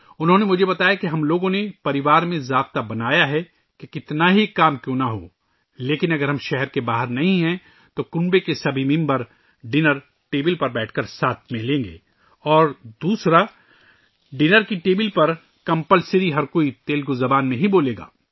انہوں نے مجھے بتایا کہ ہم نے خاندان میں ایک اصول بنا رکھا ہے کہ چاہے جتنا بھی کام ہو لیکن اگر ہم شہر سے باہر نہ ہوں تو گھر کے تمام افراد ایک ساتھ بیٹھ کر کھانا کھائیں گے اور دوسرا ، یہ لازمی ہےکہ کھانے کی میز پر صرف تیلگو زبان میں ہی بات کریں گے